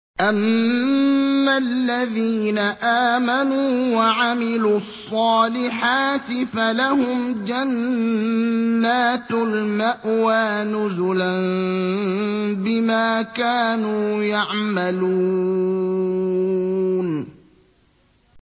أَمَّا الَّذِينَ آمَنُوا وَعَمِلُوا الصَّالِحَاتِ فَلَهُمْ جَنَّاتُ الْمَأْوَىٰ نُزُلًا بِمَا كَانُوا يَعْمَلُونَ